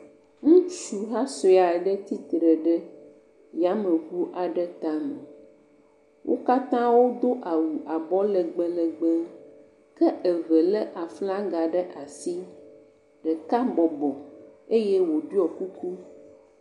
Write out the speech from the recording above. Ŋutsuha sue aɖe tsitre ɖe yameŋu aɖe tame, wo katã wodo awu abɔ legbelegbe ke eve lé aflaga ɖe asi, ɖeka bɔbɔ eye wòɖɔ kuku.